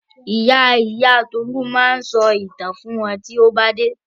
Ìya ìya Tolu ma sọ ìtàn fún wa tọ́n bà dé.